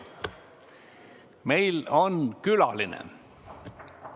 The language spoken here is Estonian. Meil on külaline.